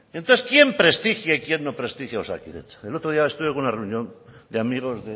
entonces quién prestigia y quién no prestigia osakidetza el otro día estuve en una reunión de amigos